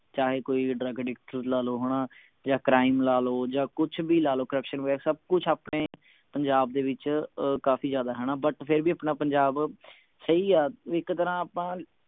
ਚਾਹੇ ਕੋਈ drug addict ਲਾ ਲਓ ਹਣਾ ਯਾ crime ਲਾ ਲਓ ਜਾ ਕੁਛ ਵੀ ਲਾ ਲੋ corruption ਵਗੈਰਾ ਸਬ ਕੁਛ ਆਪਣੇ ਪੰਜਾਬ ਦੇ ਵਿਚ ਅਹ ਕਾਫੀ ਜਿਆਦਾ ਹਣਾ but ਫੇਰ ਵੀ ਆਪਣਾ ਪੰਜਾਬ ਸਹੀ ਆ ਇਕ ਤਰ੍ਹਾਂ ਆਪਾਂ